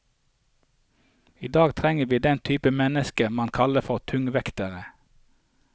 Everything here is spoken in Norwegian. I dag trenger vi den type mennesker man kaller for tungvektere.